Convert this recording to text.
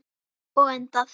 Og endað.